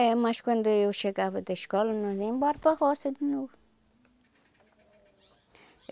É, mas quando eu chegava da escola, nós ia embora para a roça de novo.